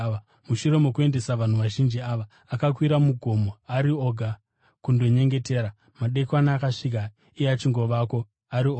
Mushure mokuendesa vanhu vazhinji ava, akakwira mugomo ari oga kundonyengetera. Madekwana akasvika iye achingovako ari oga,